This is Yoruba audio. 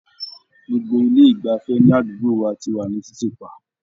Gbogbo ilé ìgbafẹ́ ní àdúgbò wa ti wà ní títì pa.